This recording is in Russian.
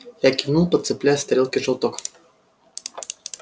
я кивнул подцепляя с тарелки желток